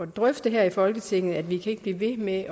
drøfte her i folketinget for vi kan ikke blive ved med at